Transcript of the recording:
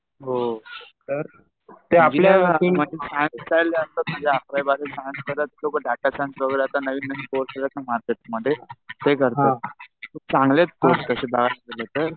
हो तर ते आपल्या जे असतात ना अकरावी, बारावी सायन्स करत सोबत डाटा सायन्स वगैरे आता नवीन आहेत ना मार्केट मध्ये ते करतात. चांगले आहेत कोर्सेस तशे डाटा रिलेटेड.